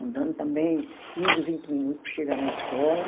andando também quinze, vinte minutos para chegar na escola.